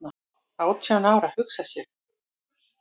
"""Átján ára, hugsa sér!"""